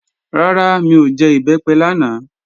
Rárá, mi ò jẹ Ìbẹ́pẹ lánàá